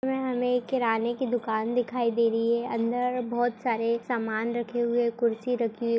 -- हमें किराने की दुकान दिखाई दे रही है अंदर बहुत सारे सामान रखे हुए कुर्सी रखी --